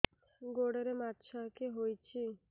ଗୋଡ଼ରେ ମାଛଆଖି ହୋଇଛି